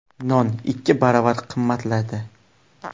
Non ikki baravar qimmatladi.